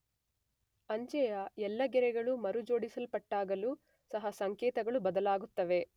ಅಂಚೆಯ ಎಲ್ಲೆಗೆರೆಗಳು ಮರುಜೋಡಿಸಲ್ಪಟ್ಟಾಗಲೂ ಸಹ ಸಂಕೇತಗಳು ಬದಲಾಗುತ್ತವೆ.